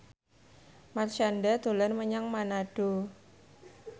Marshanda dolan menyang Manado